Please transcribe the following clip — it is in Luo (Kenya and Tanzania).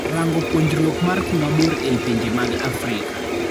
Rango puonjruok mar kuma bor ei pinje mag Afrika.